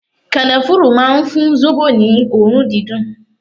Kanafuru máa ń fún zobo ní òórùn dídùn.